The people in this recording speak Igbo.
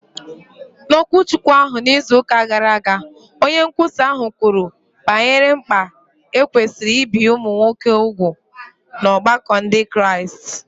N’okwuchukwu ahụ n’izu ụka gara aga, onye nkwusa ahụ kwuru banyere mkpa e kwesịrị ibi ụmụ nwoke úgwù n’ọgbakọ Ndị Kraịst.